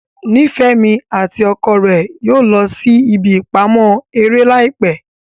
Nifemi ati ọkọ rẹ yóò lọ sí ìbí ipamọ eré laipẹ